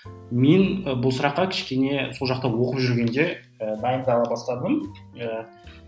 мен бұл сұраққа кішкене сол жақта оқып жүргенде ы дайындала бастадым ы